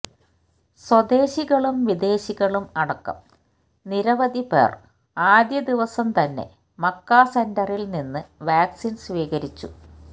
സ്വദേശികളും വിദേശികളും അടക്കം നിരവധി പേര് ആദ്യ ദിവസം തന്നെ മക്ക സെന്ററില് നിന്ന് വാക്സിന് സ്വീകരിച്ചു